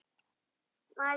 Þær sáu ekki Lóu-Lóu strax.